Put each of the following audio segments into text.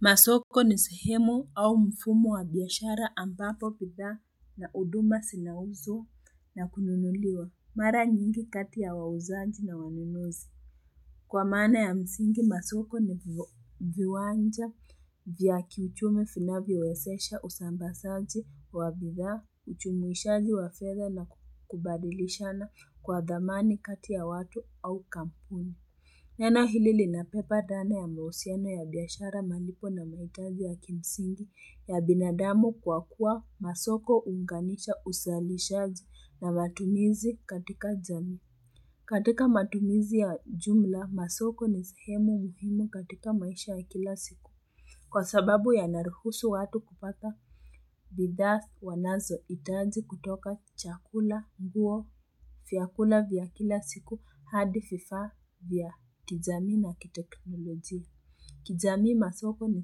Masoko ni sehemu au mfumo wa biashara ambapo bidhaa na huduma zinauzwa na kununuliwa. Mara nyingi kati ya wauzaji na wanunuzi. Kwa maana ya msingi masoko ni viwanja vya kiuchumi vinvyowezesha uzambazaji wa bidhaa, ujumuishaji wa fedha na kubadilishana kwa dhamani kati ya watu au kampuni. Neno hili linabeba dhana ya mahusiano ya biashara, malipo na mahitaji ya kimsingi ya binadamu kwa kuwa masoko huunganisha uzalishaji na matumizi katika jamii. Katika matumizi ya jumla masoko ni sehemu muhimu katika maisha ya kila siku. Kwa sababu yanaruhusu watu kupata bidhaa wanazohitaji kutoka chakula, nguo, vyakula vya kila siku, hadi vifaa vya kijamii na kiteknoloji. Kijamii, masoko ni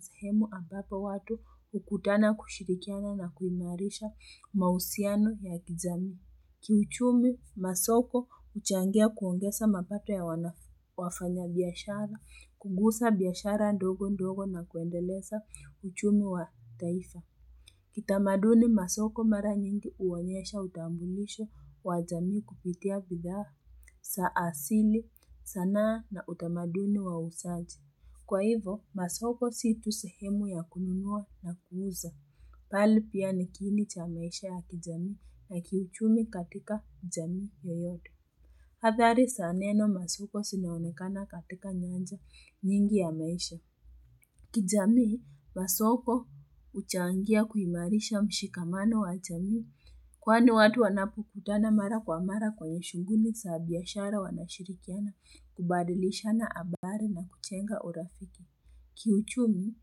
sehemu ambapo watu hukutana kushirikiana na kuimarisha mahusiano ya kijamii. Kiuchumi masoko huchangia kuongeza mapato ya wafanyabiashara, kunguza biashara ndogo ndogo na kuendeleza uchumi wa taifa. Kitamaduni, masoko mara nyingi huonyesha utambulisho wa jamii kupitia bidhaa za asili, sanaa na utamaduni wa uuzaji. Kwa hivyo, masoko si tu sehemu ya kununua na kuuza. Bali pia nikiini cha maisha ya kijamii na kiuchumi katika jamii yoyote. Athari za neno masoko zinaonekana katika nyanja nyingi ya maisha. Kijamii, masoko huchangia kuimarisha mshikamano wa jamii. Kwani watu wanapukutana mara kwa mara kwenye shughuli za biashara, wanashirikiana kubadilishana habari na kujenga urafiki. Kiuchumi,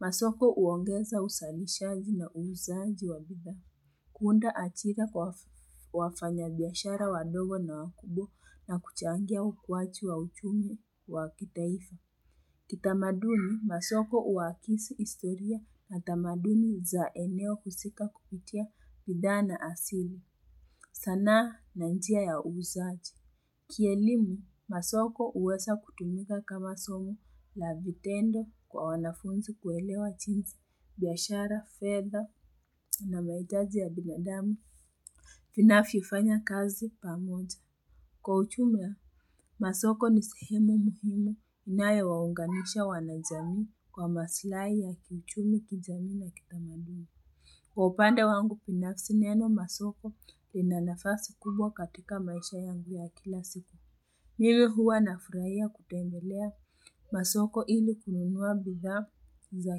masoko huongeza uzalishaji na uuzaji wa bidhaa. Kuunda ajira kwa wafanyabiashara wadogo na wakubwa na kuchangia ukuwaji wa uchumi wa kitaifa. Kitamaduni, masoko huakisi historia na tamaduni za eneo husika kupitia bidhaa na asili. Sanaa na njia ya uuzaji. Kielimu, masoko huweza kutumika kama somo la vitendo kwa wanafunzi kuelewa jinsi biashara, fedha na mahitaji ya binadamu vinavyofanya kazi pamoja. Kwa ujumla, masoko ni sehemu muhimu inayowaunganisha wanajamii kwa masilahi ya kichumi kijami na kitamaduni. Kwa upande wangu binafsi, neno masoko ina nafasi kubwa katika maisha yangu ya kila siku. Mimi huwa na furahia kutembelea masoko ili kununua bidhaa za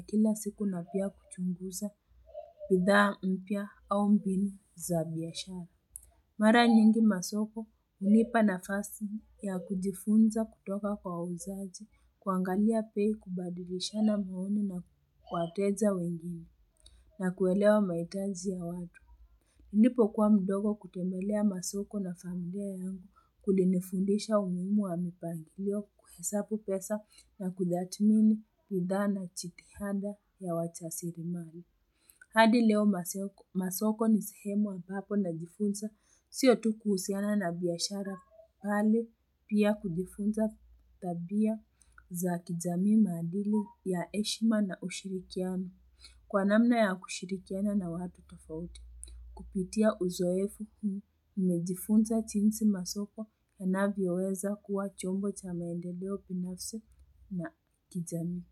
kila siku na pia kuchunguza bidhaa mpya au mbinu za biashara. Mara nyingi masoko hunipa nafasi ya kujifunza kutoka kwa wauzaji, kuangalia bei, kubadilishana maoni na wateja wengine na kuelewa mahitaji ya watu. Nilipokua mdogo kutembelea masoko na familia yangu kulinifundisha umuhimu wa mipangilio, kuhesabu pesa na kutathmini bidhaa na jitihada ya wajasili mali. Hadi leo masoko ni sihemu ambapo najifunza sio tu kuhusiana na biashara bali pia kujifunza tabia za kijamii, maadili ya heshima na ushirikiano. Kwa namna ya kushirikiana na watu tofauti. Kupitia uzoefu huu, nimejifunza jinsi masoko yanavyoweza kuwa chombo cha maendeleo binafsi na kijamii.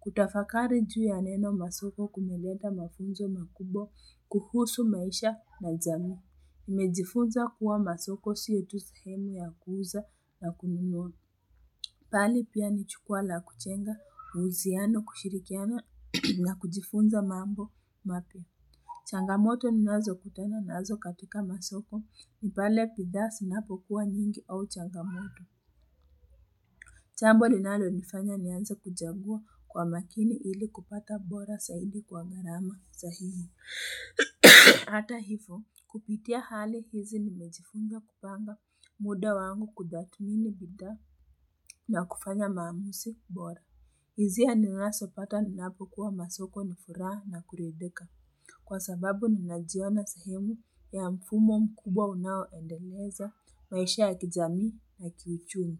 Kutafakari juu ya neno masoko kumeleta mafunzo makubwa kuhusu maisha na jamii. Nimejifunza kuwa masoko sio tu sehemu ya kuuza na kununua, bali pia ni jukwa la kujenga uhusiano, kushirikiana na kujifunza mambo mapya. Changamoto ninazo kutana nazo katika masoko. Pale bidhaa znapokuwa nyingi au changamoto. Jambo linalonifanya nienza kuchagua kwa makini ili kupata bora zaidi kwa gharama sahihi. Hata hivyo, kupitia hali hizi nimejifunga kupanga muda wangu kutathmini bidhaa na kufanya maamuzi bora. Hisia ninazopata ninapokua masoko ni furaha na kuridhika kwa sababu ninajiona sahemu ya mfumo mkubwa unaoendeleza maisha ya kijamii na kiichumi.